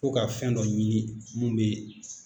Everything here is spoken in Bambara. Ko ka fɛn dɔ ɲini mun bɛ.